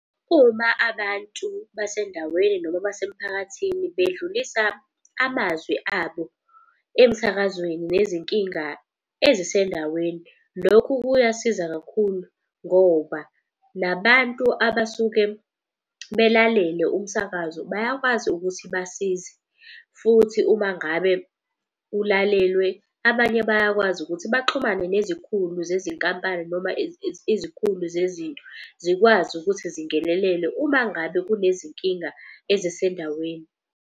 Uma abantu basendaweni noma basemphakathini bedlulisa amazwi abo emsakazweni nezinkinga ezisendaweni. Lokhu kuyasiza kakhulu ngoba nabantu abasuke belalele umsakazo bayakwazi ukuthi basize. Futhi uma ngabe ulalelwe abanye bayakwazi ukuthi baxhumane nezikhulu zezinkampani noma izikhulu zezinto. Zikwazi ukuthi zingenelele uma ngabe kunezinkinga ezisendaweni.